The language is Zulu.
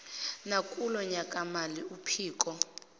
nakulo nyakamali uphiko